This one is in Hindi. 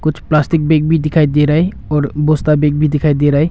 कुछ प्लास्टिक बैग भी दिखाई दे रहा है और बोस्ता बैग भी दिखाई दे रहा है।